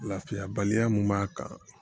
Lafiyabaliya min b'a kan